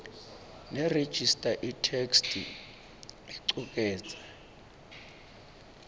nerejista itheksthi icuketse